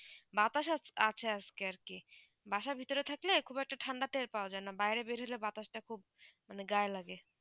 বাতাস আজকে আর কি বাসা ভিতরে থাকলে একবার ঠান্ডা তে পৰা যায় বাইরে বের হয়ে বাতাস তা খুব গায়ে লাগে